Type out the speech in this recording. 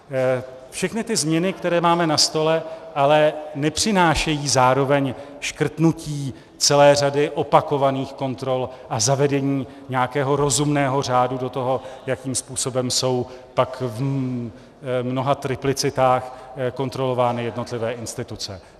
Všechny ty změny, které máme na stole, ale nepřinášejí zároveň škrtnutí celé řady opakovaných kontrol a zavedení nějakého rozumného řádu do toho, jakým způsobem jsou pak v mnoha triplicitách kontrolovány jednotlivé instituce.